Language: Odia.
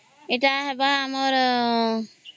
ଏଇଟା ହେବ ଆମର